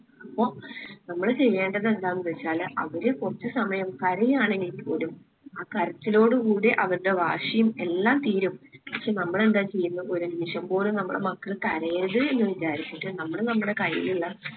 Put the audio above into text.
അപ്പോ നമ്മള് ചെയ്യേണ്ടത് എന്താണ് ന്ന്‌ വെച്ചാല് അവര് കൊർച് സമയം കരയാണെങ്കിൽ പോലും ആ കരച്ചിലോടു കൂടി അവര്ടെ വാശിയും എല്ലാം തീരും. പക്ഷെ നമ്മൾ എന്താ ചെയ്യുന്നേ ഒരു നിമിഷം പോലെ നമ്മളെ മക്കള് കരയരുത് എന്ന് വിചാരിച്ചിട്ട് നമ്മള് നമ്മളെ കയ്യിൽ ഇള്ള